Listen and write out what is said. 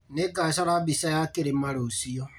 Nĩngacora mbica ya kĩrĩma rũciũ